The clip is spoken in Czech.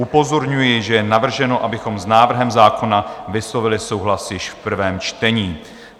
Upozorňuji, že je navrženo, abychom s návrhem zákona vyslovili souhlas již v prvém čtení.